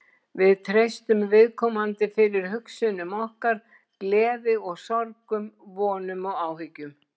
Við treystum viðkomandi fyrir hugsunum okkar, gleði og sorgum, vonum og áhyggjum.